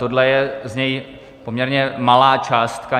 Tohle je z něj poměrně malá částka.